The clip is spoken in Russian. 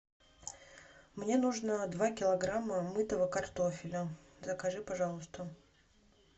мне нужно два килограмма мытого картофеля закажи пожалуйста